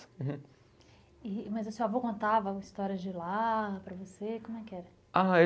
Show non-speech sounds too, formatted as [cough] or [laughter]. [unintelligible] Mas o seu avô contava histórias de lá para você? Como é que era? Ah